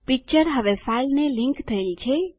picture હવે ફાઈલને link થયેલ છે